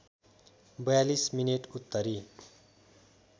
४२ minute उत्तरी